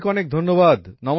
অনেক অনেক ধন্যবাদ